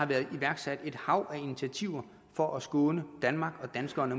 blevet iværksat et hav af initiativer for at skåne danmark og danskerne